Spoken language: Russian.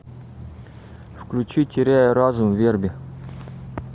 включи теряю разум верби